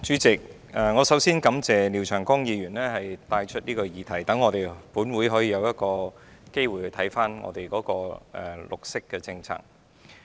主席，我首先感謝廖長江議員提出這項議題，讓本會可以有機會檢視政府的綠色政策。